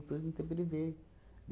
Depois de um tempo, ele veio.